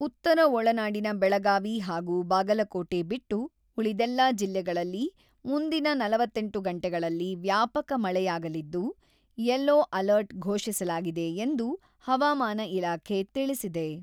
ಉತ್ತರ ಒಳನಾಡಿನ ಬೆಳಗಾವಿ ಹಾಗೂ ಬಾಗಲಕೋಟೆ ಬಿಟ್ಟು, ಉಳಿದೆಲ್ಲಾ ಜಿಲ್ಲೆಗಳಲ್ಲಿ ಮುಂದಿನ ನಲವತ್ತೆಂಟು ಗಂಟೆಗಳಲ್ಲಿ ವ್ಯಾಪಕ ಮಳೆಯಾಗಲಿದ್ದು, 'ಯೆಲ್ಲೊ ಅಲರ್ಟ್ 'ಘೋಷಿಸಲಾಗಿದೆ ಎಂದು ಹವಾಮಾನ ಇಲಾಖೆ ತಿಳಿಸಿದೆ.